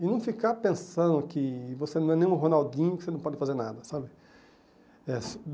E não ficar pensando que você não é nenhum Ronaldinho, que você não pode fazer nada, sabe? É